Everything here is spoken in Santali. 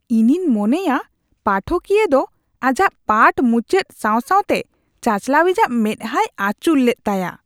ᱤᱧᱤᱧ ᱢᱚᱱᱮᱭᱟ ᱯᱟᱴᱷᱚᱠᱤᱭᱟᱹ ᱫᱚ ᱟᱡᱟᱜ ᱯᱟᱴᱷ ᱢᱩᱪᱟᱹᱫ ᱥᱟᱶ ᱥᱟᱶᱛᱮ ᱪᱟᱪᱟᱞᱟᱣᱤᱡᱟᱜ ᱢᱮᱫᱦᱟᱭ ᱟᱹᱪᱩᱨ ᱞᱮᱫ ᱛᱟᱭᱟ ᱾